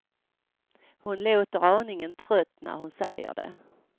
Hon låter aningen trött när hon säger det.